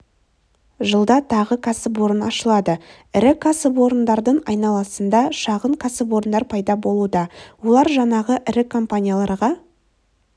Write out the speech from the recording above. жылда тағы кәсіпорын ашылады ірі кәсіпорындардың айналасында шағын кәсіпорындар пайда болуда олар жаңағы ірі компанияларға